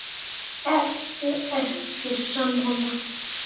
Ertu ekki sammála?